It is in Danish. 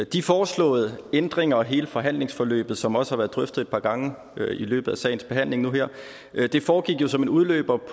de foreslåede ændringer og hele forhandlingsforløbet som også har været drøftet et par gange i løbet af sagens behandling nu her foregik jo som en udløber